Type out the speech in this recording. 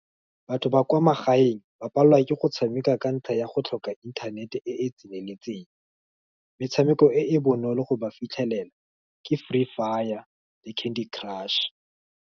Batho ba kwa magaeng, ba palelwa ke go tshameka ka ntlha ya go tlhoka inthanete e e tseneletseng, metshameko e e bonolo go ba fitlhelela, ke Free Fire le Candy Crush.